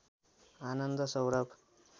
Anand Saurabh